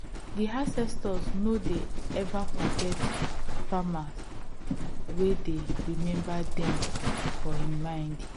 di ancestors no de ever forget farmer wey dey remember dem for im mind